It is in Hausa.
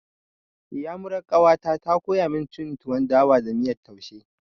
Iyamurar ƙawata ta koya cin tuwon dawa da miyan taushe.